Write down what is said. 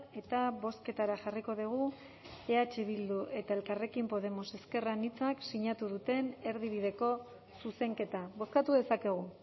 eta bozketara jarriko dugu eh bildu eta elkarrekin podemos ezker anitzak sinatu duten erdibideko zuzenketa bozkatu dezakegu